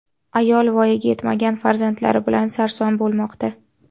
Ayol voyaga yetmagan farzandlari bilan sarson bo‘lmoqda.